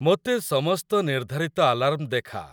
ମୋତେ ସମସ୍ତ ନିର୍ଧାରିତ ଆଲାର୍ମ ଦେଖା